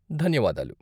ధన్యవాదాలు.